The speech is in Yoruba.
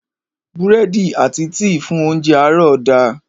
Búrẹ́dì àti tíì fún óńjẹ àárọ̀ da.